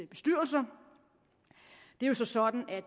bestyrelser det er så sådan at